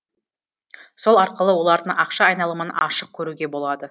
сол арқылы олардың ақша айналымын ашық көруге болады